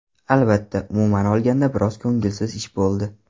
Albatta, umuman olganda biroz ko‘ngilsiz ish bo‘ldi.